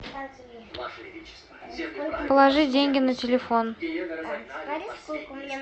положи деньги на телефон